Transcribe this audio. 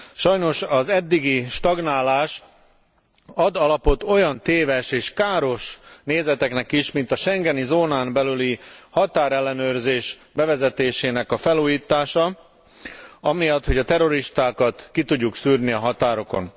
Sajnos az eddigi stagnálás ad alapot olyan téves és káros nézeteknek is, mint a schengeni zónán belüli határellenőrzés bevezetésének a felújítása amiatt, hogy a terroristákat ki tudjuk szűrni a határokon.